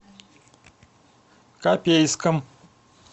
копейском